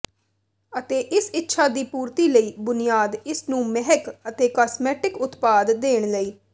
ਅਤੇ ਇਸ ਇੱਛਾ ਦੀ ਪੂਰਤੀ ਲਈ ਬੁਨਿਆਦ ਇਸ ਨੂੰ ਮਹਿਕ ਅਤੇ ਕਾਸਮੈਟਿਕ ਉਤਪਾਦ ਦੇਣ ਲਈ